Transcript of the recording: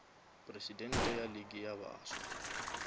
presidente ya league ya baswa